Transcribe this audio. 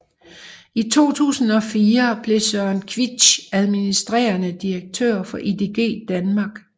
I 2004 blev Søren Queitsch administrerende direktør for IDG Danmark